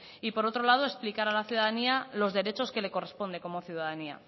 y por otro lado explicar a la ciudadanía los derechos que les corresponde como ciudadanía